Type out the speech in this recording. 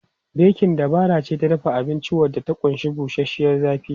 Bekin dabara ce ta dafa abinci wadda ta ƙunshi bushashiyar zafi.